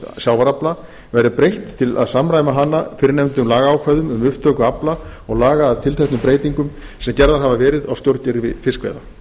sjávarafla verði breytt til að samræma hana fyrrnefndum lagaákvæðum um upptöku afla og laga að tilteknum breytingum sem gerðar hafa verið á stjórnkerfi fiskveiða